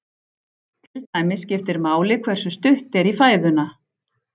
Til dæmis skiptir máli hversu stutt er í fæðuna.